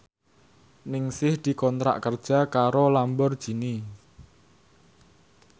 Ningsih dikontrak kerja karo Lamborghini